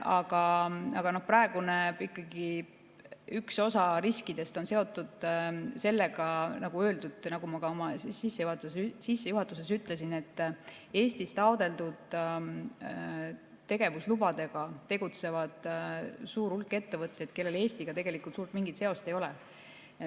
Aga praegu ikkagi üks osa riskidest on seotud sellega, nagu ma ka oma sissejuhatuses ütlesin, et Eestis taotletud tegevuslubadega tegutseb suur hulk ettevõtteid, kellel Eestiga tegelikult suurt mingit seost ei ole.